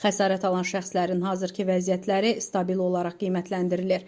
Xəsarət alan şəxslərin hazırki vəziyyətləri stabil olaraq qiymətləndirilir.